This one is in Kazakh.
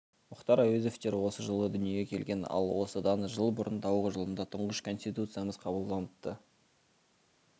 мұхтар әуезовтер осы жылы дүниеге келген ал осыдан жыл бұрын тауық жылында тұңғыш конституциямыз қабылданыпты